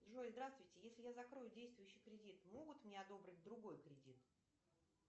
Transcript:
джой здравствуйте если я закрою действующий кредит могут мне одобрить другой кредит